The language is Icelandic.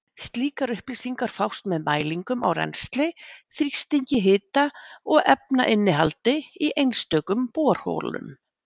Slíkar upplýsingar fást með mælingum á rennsli, þrýstingi, hita og efnainnihaldi í einstökum borholum.